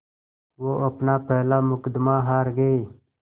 वो अपना पहला मुक़दमा हार गए